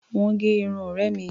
Wọ́n gẹ irun ọ̀rẹ́ mi.